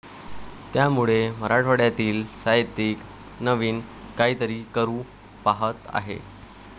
त्यामुळे मराठवाड्यातील साहित्यिक नवीन काहीतरी करू पाहत आहे,